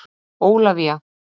Ólafía